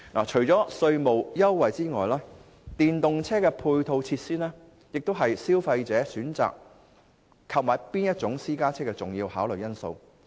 除了稅務優惠外，電動車配套措施也是消費者選購私家車的重要考慮因素。